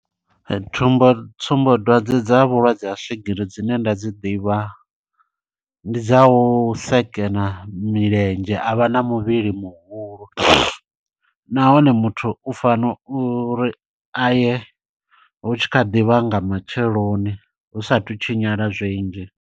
Thumbo tsumbo dwadze dza vhulwadze ha swigiri dzine nda dzi ḓivha, ndi dza u sekena milenzhe, a vha na muvhili muhulu. Nahone muthu u fana uri aye hu tshi kha ḓivha nga matsheloni hu sathu tshinyala zwinzhi.